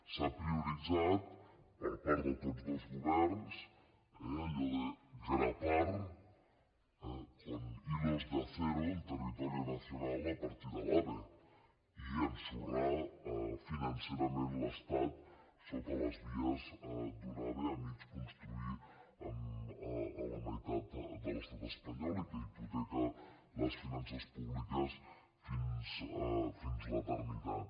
s’ha prioritzat per part de tots dos governs allò de grapar con hilos de acero el territorio nacional a partir de l’ave i ensorrar financerament l’estat sota les vies d’un ave a mig construir a la meitat de l’estat espanyol i que hipoteca les finances públiques fins a l’eternitat